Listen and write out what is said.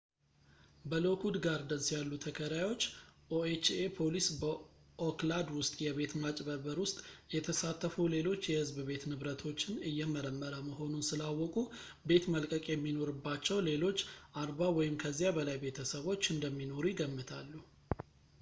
በሎክዉድ ጋርደንስ ያሉ ተከራዮች ኦኤችኤ ፖሊስ በኦክላድ ውስጥ የቤት ማጭበርበር ውስጥ የተሳተፉ ሌሎች የህዝብ ቤት ንብረቶችን እየመረመረ መሆኑን ስላወቁ ቤት መልቀቅ የሚኖርባቸው ሌሎች 40 ወይም ከዚያ በላይ ቤተሰቦች እንደሚኖሩ ይገምታሉ